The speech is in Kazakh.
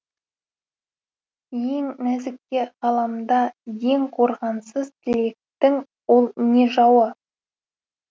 ең нәзікке ғаламда ең қорғансыз тілектің ол не жауы